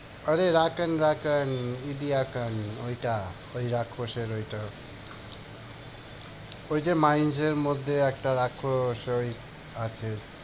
আরে ওইটা। ওই রাক্ষসের ওইটা। ওই যে mines এর মধ্যে একটা রাক্ষস ওই আছে।